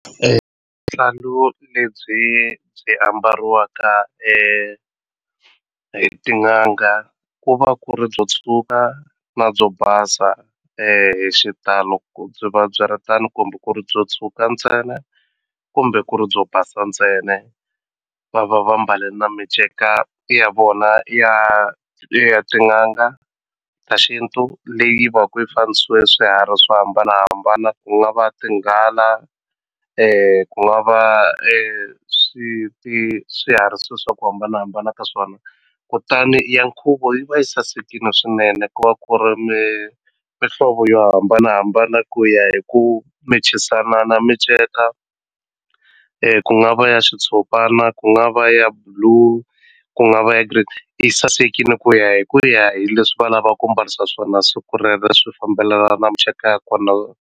lebyi byi ambariwaka hi tin'anga ku va ku ri byo tshuka na byo basa hi xitalo ku byi va byi ri tano kumbe ku ri byo tshuka ntsena kumbe ku ri byo basa ntsena va va va mbale na miceka ya vona ya ya tin'anga ta xintu leyi va ku yi swiharhi swo hambanahambana ku nga va tinghala ku nga va swiharhi swa ku hambanahambana ka swona kutani ya nkhuvo yi va yi sasekini swinene ku va ku ri mi mihlovo yo hambanahambana ku ya hi ku match-isana na minceka ku nga va ya xitshopana ku nga va ya blue ku nga va ya green yi sasekile ku ya hi ku ya hi leswi va lava ku mbarisa swona siku rero swi fambelana na miceka ya kona.